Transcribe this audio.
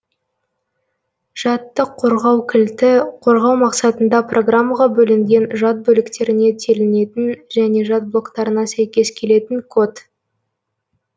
жадты қорғау кілті қорғау мақсатында программаға бөлінген жад бөліктеріне телінетін және жад блоктарына сәйкес келетін код